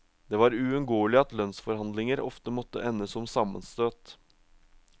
Det var uunngåelig at lønnsforhandlinger ofte måtte ende som sammenstøt.